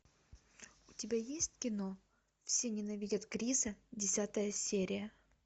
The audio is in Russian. у тебя есть кино все ненавидят криса десятая серия